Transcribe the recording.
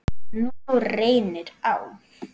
Og nú reynir á.